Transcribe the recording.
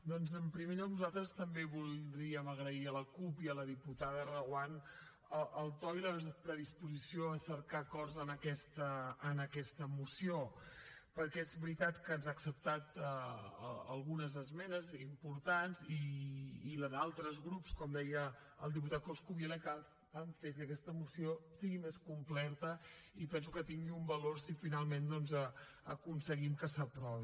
doncs en primer lloc nosaltres també voldríem agrair a la cup i a la diputada reguant el to i la predisposició a cercar acords en aquesta moció perquè és veritat que ens ha acceptat algunes esmenes i importants i les d’altres grups com deia el diputat coscubiela que han fet que aquesta moció sigui més completa i penso que tingui un valor si finalment aconseguim que s’aprovi